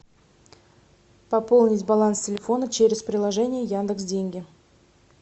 пополнить баланс телефона через приложение яндекс деньги